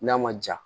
N'a ma ja